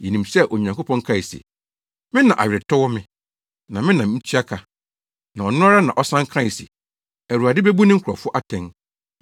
Yenim sɛ Onyankopɔn kae se, “Me na aweretɔ wɔ me, na me na mitua ka,” na ɔno ara na ɔsan kae se, “Awurade bebu ne nkurɔfo atɛn.”